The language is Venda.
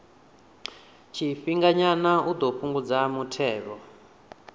tshifhinganyana u ḓo fhungudza muthelogu